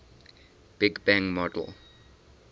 big bang model